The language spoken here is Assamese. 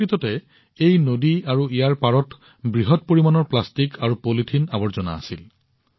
প্ৰকৃততে এই নদী আৰু ইয়াৰ পাৰত বৃহৎ পৰিমাণৰ প্লাষ্টিক আৰু পলিথিন আৱৰ্জনা আছিল